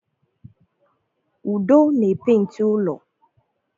Udo na-epenti ụlọ